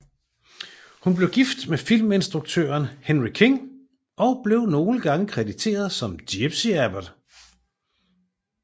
Hun blev gift med filminstruktøren Henry King og blev nogle gange krediteret som gypsie Abbott